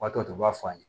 O b'a to u b'a f'a ma